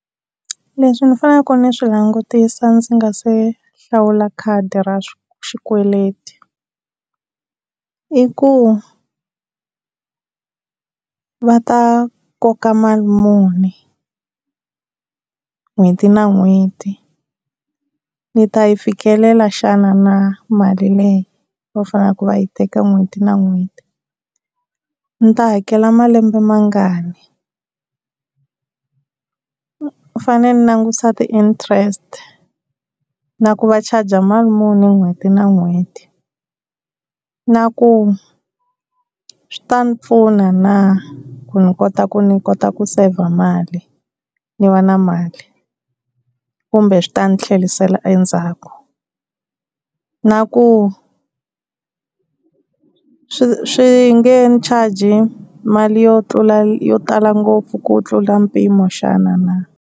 Leswi ni faneleke ni swi langutisa ndzi nga se hlawula khadi ra xikweleti. I ku va ta koka mali muni n'hweti na n'hweti ni ta yi fikelela xana na, mali leyi va faneleke va yi teka n'hweti na n'hweti, ndzi ta yi hakela malembe mangani. Ni fanele ni langusa ti-interest na ku va charge mali muni hi n'hweti na n'hweti. Na ku swi ta ni pfuna na, ku ni kota ku ni kota ku save mali ni va na mali, kumbe swi ta ni tlherisela endzhaku. Na ku swi swi nge ni charge mali yo tlula yo tala ngopfu ku tlula mpimo xana na.